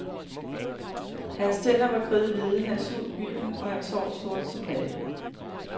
Hans tænder var kridhvide, hans hud gylden og hans hår sort som natten.